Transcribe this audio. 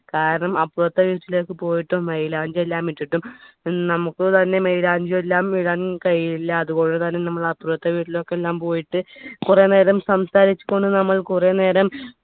കാരണം അപ്പുറത്തെ വീട്ടിലേക്ക് പോയിട്ട് മൈലാഞ്ചി എല്ലാം ഇട്ടിട്ടു നമുക്ക് തന്നെ മൈലാഞ്ചി എല്ലാം ഇടാൻ കഴിയില്ലാ അതുകൊണ്ട് തന്നെ നമ്മൾ അപ്പുറത്തെ വീട്ടിലേക്ക് എല്ലാം പോയിട്ട് കുറെ നേരം സംസാരിച്ചുകൊണ്ട് നമ്മൾ കുറെ നേരം